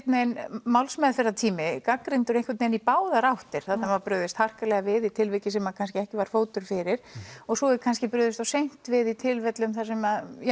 málsmeðferðartími gagnrýndur í báðar áttir þarna var brugðist harkalega við í tilviki sem kannski ekki var fótur fyrir og svo er kannski brugðist of seint við í tilfellum þar sem